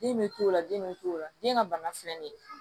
Den bɛ to o la den bɛ to o la den ka bana filɛ nin ye